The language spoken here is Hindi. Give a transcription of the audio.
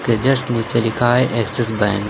ये जस्ट नीचे लिखा है एक्सिस बैंक ।